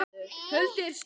Holdið er stökkt.